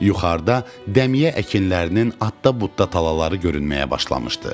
Yuxarıda dəmiyə əkinlərinin adda-budda talaları görünməyə başlamışdı.